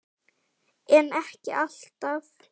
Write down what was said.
Aldrei nokkurn tímann.